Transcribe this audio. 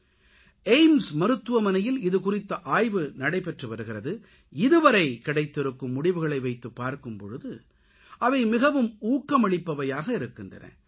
AIIMS AIIMS மருத்துவமனையில் இது குறித்த ஆய்வு நடைபெற்று வருகிறது இதுவரை கிடைத்திருக்கும் முடிவுகளை வைத்துப் பார்க்கும் போது அவை மிகவும் ஊக்கமளிப்பவையாக இருக்கின்றன